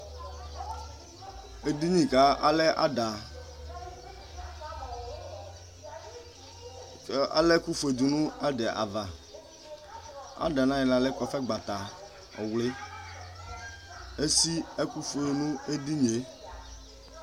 Ɛdini kʋ alɛ ada ala ɛkʋfue dʋnʋ ada yɛ ava ada yɛ nʋ ayixla lɛ kɔfɛgbata ɔvli esi ɛkʋ ofue nʋ edinie